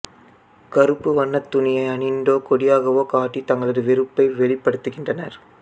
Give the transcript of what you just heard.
கருப்புவண்ண துணியை அணிந்தோ கொடியாகவோ காட்டி தங்களது எதிர்ப்பை வெளிப்படுத்துகின்றனர்